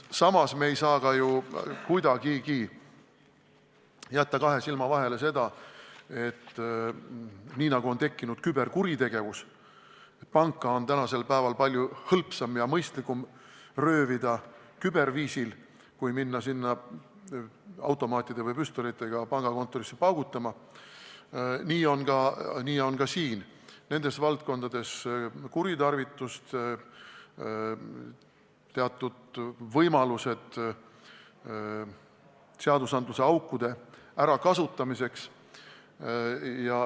Samas ei saa me kuidagi jätta kahe silma vahele, et nii nagu on tekkinud küberkuritegevus – panka on tänasel päeval palju hõlpsam ja mõistlikum röövida küberviisil kui pangakontorisse kohapeale automaatide või püstolitega paugutama minna –, nii on ka siin, nendes valdkondades kuritarvitamist, on teatud võimalused seaduseaukude ärakasutamiseks.